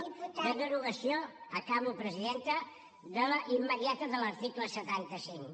de derogació acabo presidenta immediata de l’article setanta cinc